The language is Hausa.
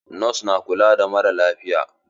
Nos na kula da maralafiya.